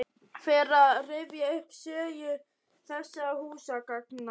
Fer að rifja upp sögu þessara húsgagna.